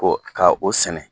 K'o ka o sɛnɛ